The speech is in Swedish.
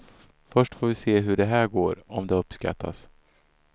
Först får vi se hur det här går, om det uppskattas.